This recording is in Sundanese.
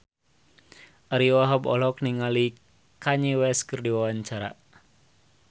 Ariyo Wahab olohok ningali Kanye West keur diwawancara